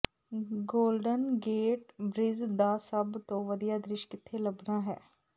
golden gate bridge ਦਾ ਸਭ ਤੋਂ ਵਧੀਆ ਦ੍ਰਿਸ਼ ਕਿੱਥੇ ਲੱਭਣਾ ਹੈ